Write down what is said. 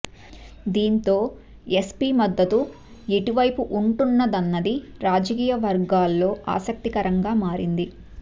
దీంతో ఎస్పీ మద్దతు ఎటువైపు ఉంటుందన్నది రాజకీయ వర్గాల్లో ఆసక్తికరంగా మారింది